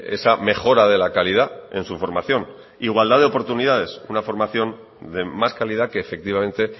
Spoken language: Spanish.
esa mejora de la calidad en su formación igualdad de oportunidades una formación de más calidad que efectivamente